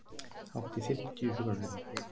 Hátt í fimmtíu sjúkraflutningar